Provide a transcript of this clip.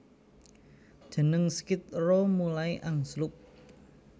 Jeneng Skid Row mulai angslup